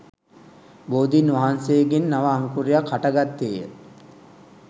බෝධීන් වහන්සේගෙන් නව අංකුරයක් හට ගත්තේ ය.